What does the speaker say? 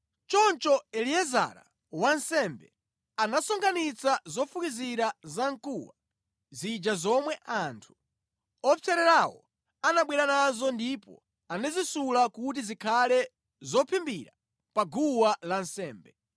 Choncho Eliezara, wansembe, anasonkhanitsa zofukizira zamkuwa zija zomwe anthu opsererawo anabwera nazo ndipo anazisula kuti zikhale zophimbira pa guwa lansembe,